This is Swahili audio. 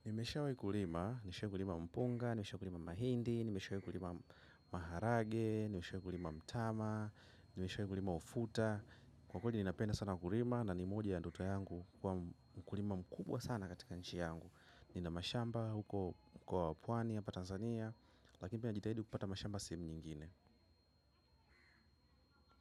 Nimeshawai kulima, nimeshawai gulima mpunga, nimeshawai kulima mahindi, nimeshawai kulima maharage, nimeshawai kulima mtama, nimeshawai kulima ufuta. Kwa kweli ninapenda sana kulima na ni moja ya ndoto yangu kuwa mkulima mkubwa sana katika nchi yangu. Nina mashamba huko kwa pwani ya hapa Tanzania, lakini pia najitahidi kupata mashamba sehemu nyingine.